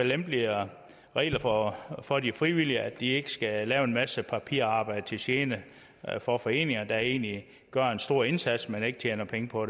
lempeligere regler for for de frivillige organisationer så de ikke skal lave en masse papirarbejde til gene for foreninger der egentlig gør en stor indsats men ikke tjener penge på